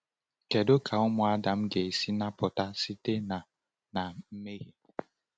Kedu ka ụmụ Adam ga-esi napụta site na na mmehie?